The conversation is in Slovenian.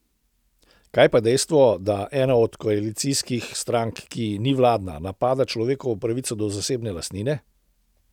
Kaj pa dejstvo, da ena od koalicijskih strank, ki ni vladna, napada človekovo pravico do zasebne lastnine?